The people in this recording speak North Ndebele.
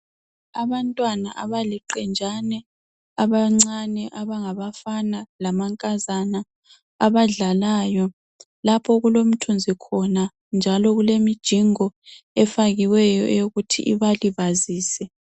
Abantwana abaliqenjani abancane abangabafana labangamankazana abadlalayo lapho okulemithunzi lemijingo efakiweyo ukuthi ibalibazise.